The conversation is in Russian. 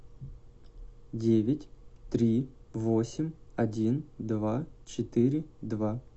девять три восемь один два четыре два